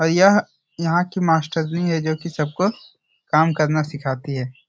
यह यहाँ की मास्टरनी है जो की सबको काम करना सिखाती है ।